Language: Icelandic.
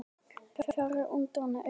Fjarri úrvinda augum.